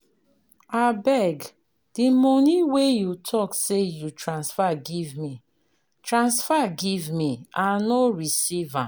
Abeg, de money wey you talk say you transfer give me, transfer give me, I no receive am.